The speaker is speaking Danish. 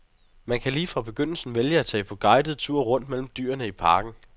Man kan lige fra begyndelsen vælge at tage på guidet tur rundt mellem dyrene i parken.